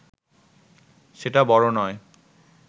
সেটা বড় নয়